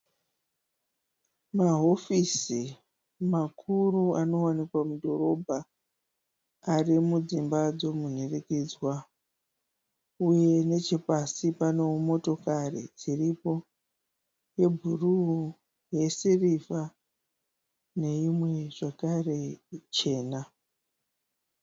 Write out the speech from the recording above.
Mahofisi makuru anowanikwa mudhorobha. Ari mudzimba dzemunhurikidzwa uye nechepasi panewo motokari dziripo yebhuruu yesirivha neimwewo zvakare chena.